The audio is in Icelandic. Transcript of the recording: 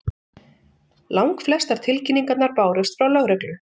Langflestar tilkynningarnar bárust frá lögreglu